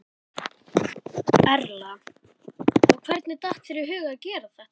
Erla: Og hvernig datt þér í hug að gera þetta?